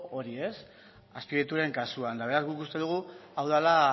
hori azpiegituren kasuan eta beraz guk uste dugu hau dela